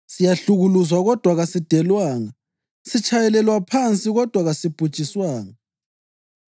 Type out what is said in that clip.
siyahlukuluzwa kodwa kasidelwanga; sitshayelelwa phansi kodwa kasibhujiswanga.